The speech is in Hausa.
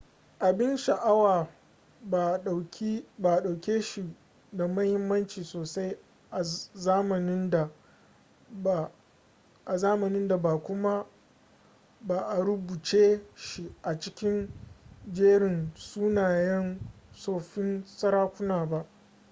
abin sha'awa ba a ɗauke shi da muhimmanci sosai a zamanin da ba kuma ba a rubuce shi a cikin jerin sunayen tsoffin sarakuna ba